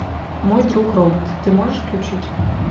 мой друг робот ты можешь включить